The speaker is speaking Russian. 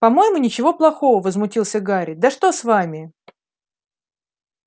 по-моему ничего плохого возмутился гарри да что с вами